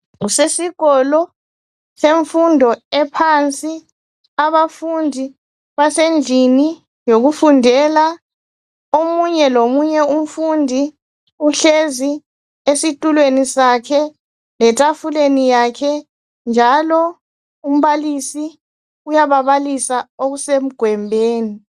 Kusesikolo semfundo ephansi abafundi basendlini yokufundela, omunye lomunye umfundi uhlezi esitulweni sakhe letafuleni yakhe njalo umbalisi uyababalisa okusemgwembeni.